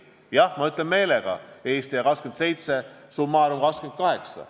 Jah, ma ütlen meelega: Eesti ja 27, summa summarum 28.